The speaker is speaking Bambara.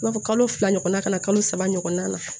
I b'a fɔ kalo fila ɲɔgɔnna ka na kalo saba ɲɔgɔnna